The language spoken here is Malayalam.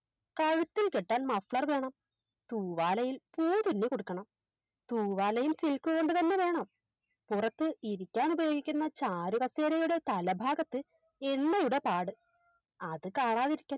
കഴുത്തിൽ കെട്ടാൻ Muffler വേണം തൂവാലയിൽ പൂവ് തുന്നിക്കൊടുക്കണം തൂവാലയിൽ Silk കൊണ്ടുതന്നെ വേണം പുറത്ത് ഇരിക്കാനുപയോഗിക്കുന്ന ചാരുകസേരയുടെ തലഭാഗത്ത് എണ്ണയുടെ പാട് അത് കാണാതിരിക്കാൻ